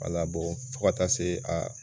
Wala bɔn fo ka taa se a